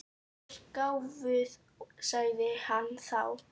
Þú ert gáfuð, sagði hann þá.